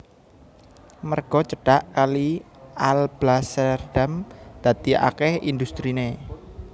Merga cedhak kali Alblasserdam dadi akèh industriné